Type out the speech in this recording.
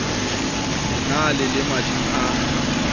ne le le mading a